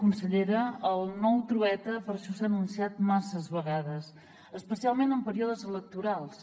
consellera el nou trueta per això s’ha anunciat masses vegades especialment en períodes electorals